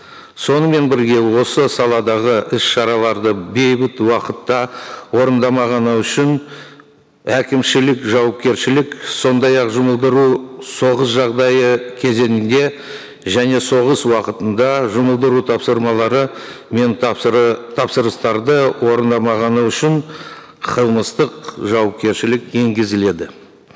сонымен бірге осы саладағы іс шараларды бейбіт уақытта орындамағаны үшін әкімшілік жауапкершілік сондай ақ жұмылдыру соғыс жағдайы кезеңінде және соғыс уақытында жұмылдыру тапсырмалары мен тапсырыстарды орындамағаны үшін қылмыстық жауапкершілік енгізіледі